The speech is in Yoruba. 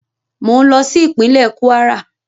Mò ń lọ sí ìpínlẹ́ Kwara